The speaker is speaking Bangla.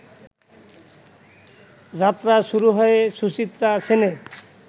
যাত্রা শুরু হয় সুচিত্রা সেনের